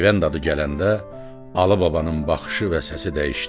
Peyvənd adı gələndə Alı babanın baxışı və səsi dəyişdi.